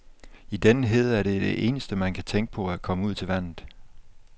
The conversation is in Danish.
I denne hede er det eneste, man kan tænke på at komme ud til vandet.